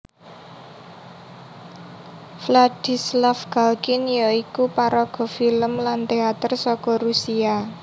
Vladislav Galkin ya iku paraga filem lan téater saka Rusia